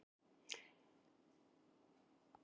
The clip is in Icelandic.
Atena, ferð þú með okkur á föstudaginn?